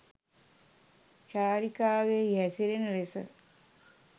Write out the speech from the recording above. චාරිකාවෙහි හැසිරෙන ලෙස